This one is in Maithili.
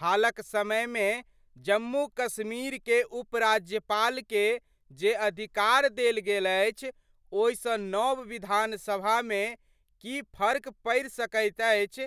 हालक समय मे जम्मू-कश्मीर के उपराज्यपाल के जे अधिकार देल गेल अछि ओहि सं नव विधानसभा में की फर्क पड़ि सकैत अछि